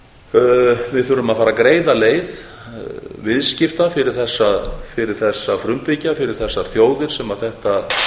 við þurfum að fara að greiða leið viðskipta fyrir þessa frumbyggja fyrir þessar þjóðir sama þetta